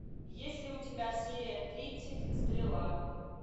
есть ли у тебя серия тридцать стрела